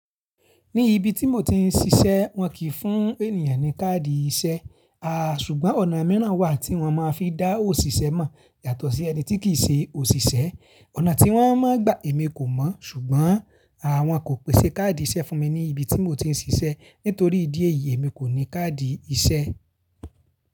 Ní ibi tí mo ti ń ṣiṣẹ́ wọ́n kìí fún ènìyàn ní káàdì iṣẹ́. Aà, ṣùgbọ́n ọ̀nà miiran wà tí wọ́n máa fi n dá òṣìṣẹ́ mọ̀ yàtọ̀ sí ẹni tí kìí ṣe òṣìṣẹ́. Ọ̀nà tí wọ́n máa ń gbà èmi kò mọ̀, ṣùgbọ́n àwọn kò pèsè káàdì iṣẹ́ fún mi ní ibi tí mo ti ń ṣiṣẹ́. Nítorí ìdí èyí èmi kò ní káàdì iṣẹ́.